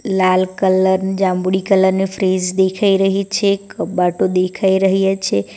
લાલ colour જાંબુડી colour ની fridge દેખાઈ રહી છે કબાટો દેખાઈ રહ્યા છે.